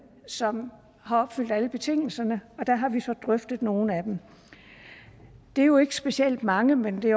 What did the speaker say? som har opfyldt alle betingelserne og der har vi så drøftet nogle af dem det er jo ikke specielt mange men det